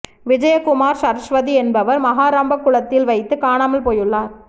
விஜயகுமார் சரஸ்வதி என்பவர் மகாராம்பக்குளத் தில் வைத்து காணாமல் போயுள்ளார்